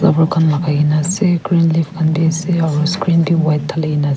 lakikina ase green leaf aru screen bi white talikina ase.